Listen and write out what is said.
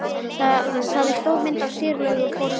Það er stór mynd af Sigurlaugu á forsíðunni.